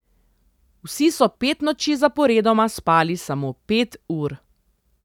Vsi so pet noči zaporedoma spali samo pet ur.